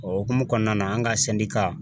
O hokumu kɔnɔna na, an ka sɛndika